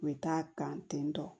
U bɛ taa kan ten tɔ